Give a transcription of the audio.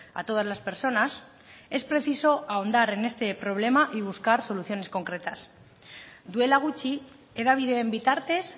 a todas las personas es preciso ahondar en este problema y buscar soluciones concretas duela gutxi hedabideen bitartez